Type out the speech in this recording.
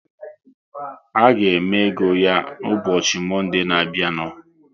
A ga-eme ego ya ụbọchị Monde na abịa nu